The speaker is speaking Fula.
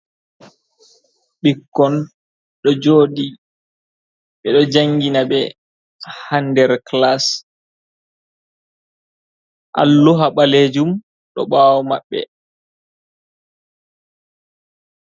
Ɓikkon ɗo jooɗi, ɓe ɗo janngina ɓe haa nder kilas, alluha ɓaleejum ɗo ɓaawo maɓɓe.